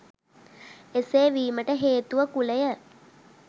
එසේ වීමට හේතුව කුලය